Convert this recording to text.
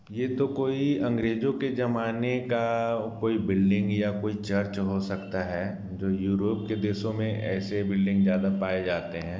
ये तो कोई अंग्रेजों के जमाने का कोई बिल्डिंग या कोई चर्च हो सकता है जो यूरोप के देशों मे ऐसे बिल्डिंग ज्यादा पाए जाते है।